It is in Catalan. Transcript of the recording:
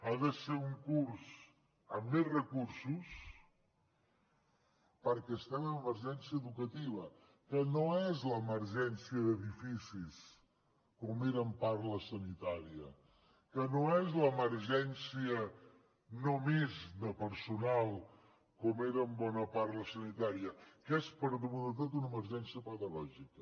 ha de ser un curs amb més recursos perquè estem en emergència educativa que no és l’emergència d’edificis com era en part la sanitària que no és l’emergència només de personal com era en bona part la sanitària que és per damunt de tot una emergència pedagògica